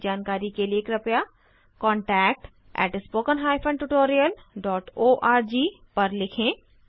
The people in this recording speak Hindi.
अधिक जानकारी के लिए कृपया contact at spoken hyphen tutorial dot org पर लिखें